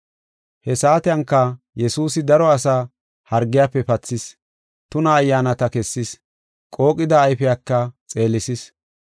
He saatenka Yesuusi daro asaa hargiyafe pathis. Tuna ayyaanata kessis, qooqida ayfiyaka xeelisis.